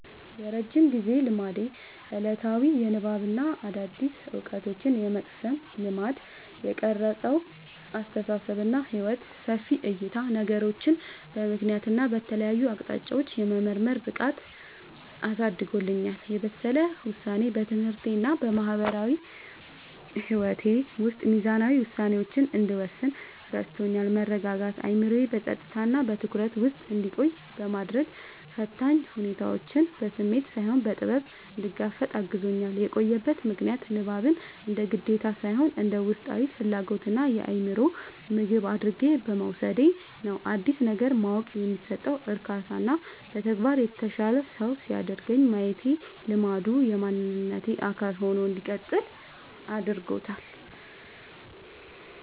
የረጅም ጊዜ ልማዴ፦ ዕለታዊ የንባብና አዳዲስ ዕውቀቶችን የመቅሰም ልማድ። የቀረጸው አስተሳሰብና ሕይወት፦ ሰፊ ዕይታ፦ ነገሮችን በምክንያትና በተለያዩ አቅጣጫዎች የመመርመር ብቃትን አሳድጎልኛል። የበሰለ ውሳኔ፦ በትምህርቴና በማህበራዊ ሕይወቴ ውስጥ ሚዛናዊ ውሳኔዎችን እንድወስን ረድቶኛል። መረጋጋት፦ አእምሮዬ በጸጥታና በትኩረት ውስጥ እንዲቆይ በማድረግ፣ ፈታኝ ሁኔታዎችን በስሜት ሳይሆን በጥበብ እንድጋፈጥ አግዞኛል። የቆየበት ምክንያት፦ ንባብን እንደ ግዴታ ሳይሆን እንደ ውስጣዊ ፍላጎትና የአእምሮ ምግብ አድርጌ በመውሰዴ ነው። አዲስ ነገር ማወቅ የሚሰጠው እርካታና በተግባር የተሻለ ሰው ሲያደርገኝ ማየቴ ልማዱ የማንነቴ አካል ሆኖ እንዲቀጥል አድርጎታል።